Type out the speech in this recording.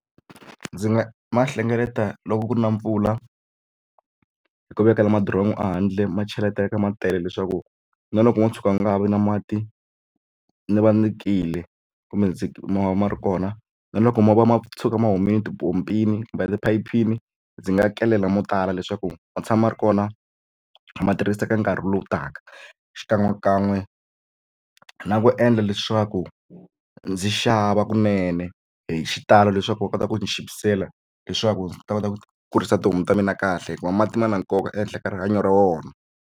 Ndzi nga ma hlengeleta loko ku ri na mpfula hi ku vekela madiromu a handle ma cheleteka ma tele leswaku na loko mo tshuka ma nga ha vi na mati ndzi va ni kile kumbe ndzi ma va ma ri kona na loko ma va ma tshika ma humile tipompini kumbe tiphayiphini ndzi nga kelela mo tala leswaku ma tshama ma ri kona ma tirhisa eka nkarhi lowu taka xikan'we kan'we na ku endla leswaku ndzi xava kunene hi xitalo leswaku va kota ku chipisela leswaku ndzi ta kota ku kurisa tihomu ta mina kahle hikuva mati ma na nkoka ehenhla ka rihanyo ra wona.